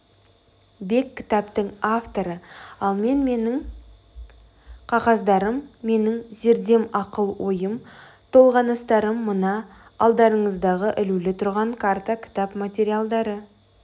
бек кітаптың авторы ал мен менің қағаздарым менің зердем ақыл-ойым толғаныстарым мына алдарыңыздағы ілулі тұрған карта кітап материалдары